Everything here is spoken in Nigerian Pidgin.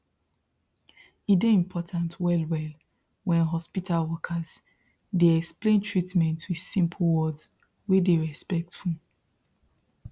e dey important wellwell when hospital workers dey explain treatment with simple words wey dey respectful